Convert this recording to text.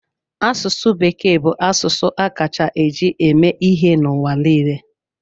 Asụsụ Bekee bụ asụsụ a kacha eji eme ihe n'ụwa niile.